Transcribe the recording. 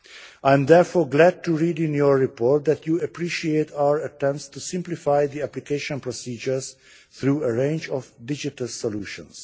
I am therefore glad to read in your report that you appreciate our attempts to simplify the application procedures through a range of digital solutions.